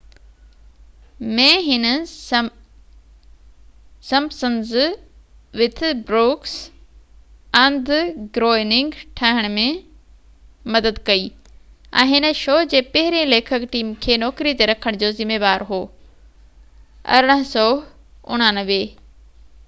1989 ۾ هن Simpsons with Brooks and Groening ٺاهڻ ۾ مدد ڪئي ۽ هن شو جي پهريئن ليکڪ ٽيم کي نوڪري تي رکڻ جو ذميوار هو